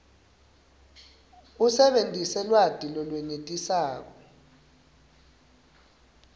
usebentise lwati lolwenetisako